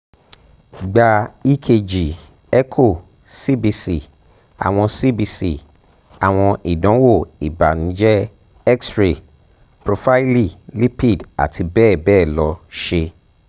gba ekg echo cbc awọn cbc awọn idanwo ibanujẹ x-ray profaili lipid ati bẹbẹ lọ ṣe